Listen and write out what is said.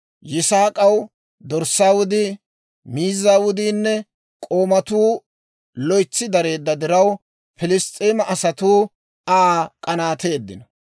Yisaak'aw dorssaa wudii, miizzaa wudiinne k'oomatuu loytsi dareedda diraw, Pilss's'eema asatuu Aa k'anaateeddino.